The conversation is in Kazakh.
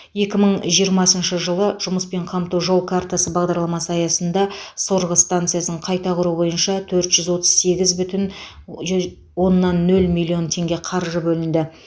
екі мың жиырмасыншы жылы жұмыспен қамту жол картасы бағдарламасы аясында сорғы станциясын қайта құру бойынша төрт жүз отыз сегіз бүтін оннан нөл миллион теңге қаржы бөлінді